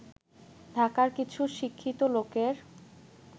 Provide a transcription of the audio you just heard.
ঢাকার কিছু শিক্ষিত লোকের